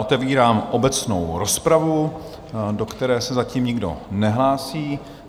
Otevírám obecnou rozpravu, do které se zatím nikdo nehlásí.